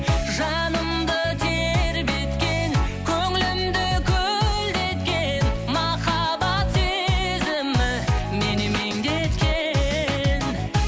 жанымды тербеткен көңілімді көлдеткен махаббат сезімі мені меңдеткен